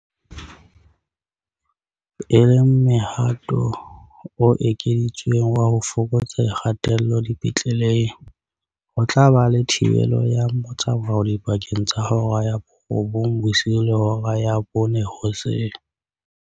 E le mohato o ekeditsweng wa ho fokotsa kgatello dipetleleng, ho tla ba le thibelo ya motsamao dipakeng tsa hora ya borobong bosiu le hora ya bone hoseng.